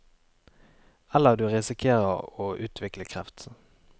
Eller du risikerer å utvikle kreft.